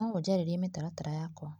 No ũnjarĩrie mĩtaratara yakwa.